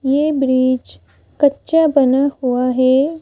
ये ब्रिज कच्चा बना हुआ है।